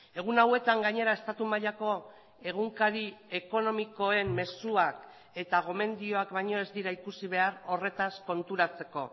egun hauetan gainera estatu mailako egunkari ekonomikoen mezuak eta gomendioak baino ez dira ikusi behar horretaz konturatzeko